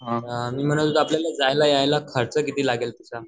अअ मी म्हणत होतो आपल्याला जायला यायला खर्च किती लागेल तसा.